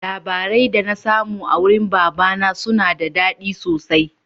Labarai da na samu a wurin baba na suna da daɗi sosai